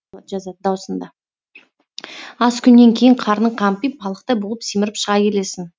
аз күннен кейін қарның қампиып балықтай болып семіріп шыға келесің